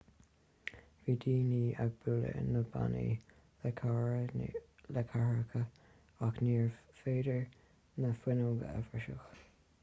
bhí daoine ag bualadh na bpánaí le cathaoireacha ach níorbh fhéidir na fuinneoga a bhriseadh